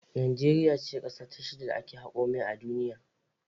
Najeriya ce kasa ta shida da ake hako mai a duniya.